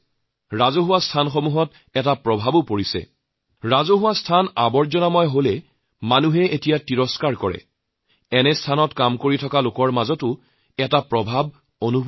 ৰাজহুৱা স্থানত জাৱৰজোথৰ পৰি থাকিলে আজি কালি মানুহে বিৰক্তি পায় ফলত যিসকলে এইবোৰ স্থানৰ চোৱাচিতাৰ কাম কৰে তেওঁলোকে একধৰণৰ তাগিদা অনুভৱ কৰে